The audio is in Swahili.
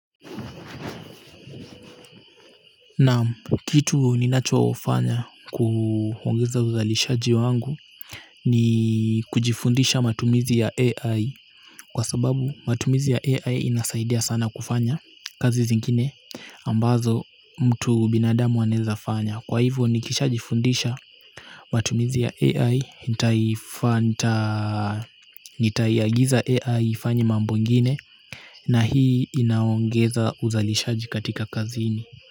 Naam, kitu ninachofanya kuongeza uzalishaji wangu, ni kujifundisha matumizi ya AI. Kwa sababu matumizi ya AI inasaidia sana kufanya kazi zingine ambazo mtu binadamu anaweza fanya, kwa hivyo nikisha jifundisha, matumizi ya AI. Nitaiagiza AI ifanye mambo ngine. Na hii inaongeza uzalishaji katika kazini.